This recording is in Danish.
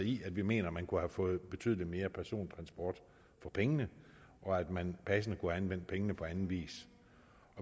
i at vi mener at man kunne have fået betydelig mere persontransport for pengene og at man passende kunne have anvendt pengene på anden vis